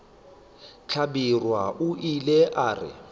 hlabirwa o ile a re